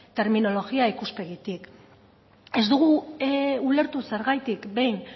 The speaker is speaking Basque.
terminologia ikuspegitik ez dugu ulertu zergatik behin